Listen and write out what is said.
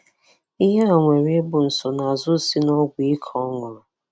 Ihe a nwere ị bụ nsonaazụ si n'ọgwụ ike ọ ṅụrụ.